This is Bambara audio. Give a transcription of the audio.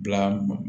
Bila mɔ